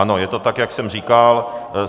Ano, je to tak, jak jsem říkal.